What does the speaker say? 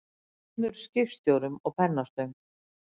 Yfir tveimur skipstjórum og pennastöng.